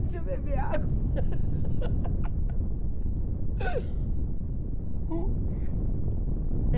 Deixa eu beber água.